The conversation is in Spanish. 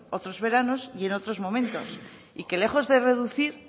otros veranos y en otros momentos y que lejos de reducir